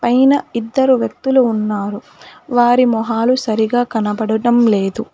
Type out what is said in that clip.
పైన ఇద్దరు వ్యక్తులు ఉన్నారు వారి మొహాలు సరిగా కనబడటం లేదు.